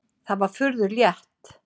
Það var furðu létt.